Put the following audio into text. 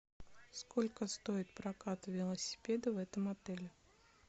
сколько стоит прокат велосипеда в этом отеле